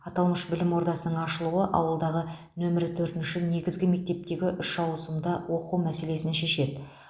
аталмыш білім ордасының ашылуы ауылдағы нөмірі төртінші негізгі мектептегі үш ауысымда оқу мәселесін шешеді